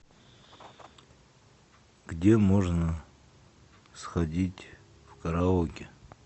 где можно сходить в караоке